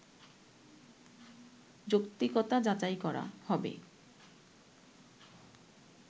যৌক্তিকতা যাচাই করা হবে